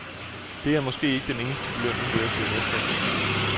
Det er måske ikke den eneste belønning ved at blive mester igen i år.